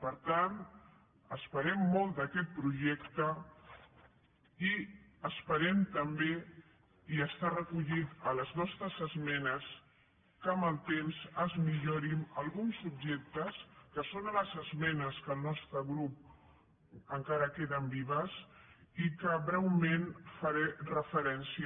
per tant esperem molt d’aquest projecte i esperem també i està recollit a les nostres esmenes que amb el temps es millorin alguns subjectes que són a les esmenes del nostre grup que encara queden vives i a què breument faré referència